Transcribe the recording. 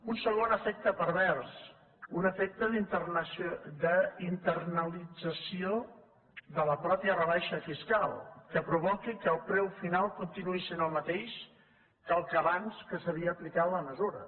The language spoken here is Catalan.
un segon efecte pervers un efecte d’internalització de la mateixa rebaixa fiscal que provoqui que el preu final continuï sent el mateix que el d’abans que s’havia aplicat la mesura